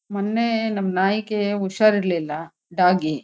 ಮೊನ್ನೇ ನಮ್ ನಾಯಿಗೆ ಹುಷಾರಿರಲಿಲ್ಲ ಡಾಗಿ --